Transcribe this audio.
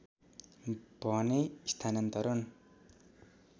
भने स्थानान्तरण